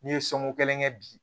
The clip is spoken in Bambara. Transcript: N'i ye soko kelen kɛ bi